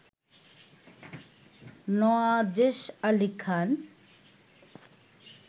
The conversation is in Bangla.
নওয়াজেশ আলী খান